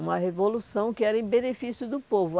Uma revolução que era em benefício do povo.